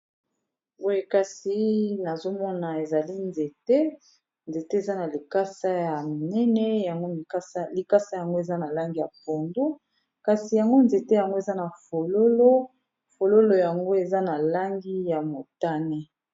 Boye kasi nazomona ezali nzete eza na likasa ya minene likasa yango eza na langi ya pondu kasi yango nzete yango eza na fololo yango eza na langi ya motane.